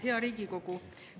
Hea Riigikogu!